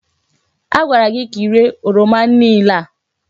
Agwara gị ka iréé oroma niile a!